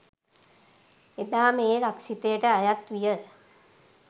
එදා මේ රක්ෂිතයට අයත් විය